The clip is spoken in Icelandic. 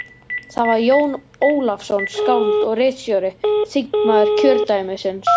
Það var Jón Ólafsson, skáld og ritstjóri, þingmaður kjördæmisins.